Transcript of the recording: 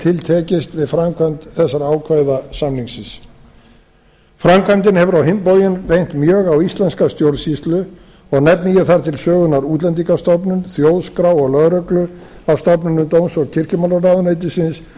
til tekist við framkvæmd þessara ákvæða samningsins framkvæmdin hefur á hinn bóginn reynt mjög á íslenska stjórnsýslu og nefni ég þar til sögunnar útlendingastofnun þjóðskrá og lögreglu af stofnunum dóms og kirkjumálaráðuneytisins